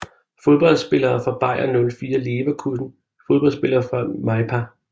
Fodboldspillere fra Bayer 04 Leverkusen Fodboldspillere fra MyPa